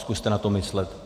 Zkuste na to myslet.